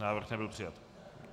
Návrh nebyl přijat.